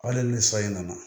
Hali ni san in nana